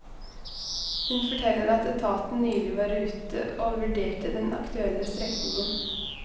Hun forteller at etaten nylig var ute og vurderte den aktuelle strekningen.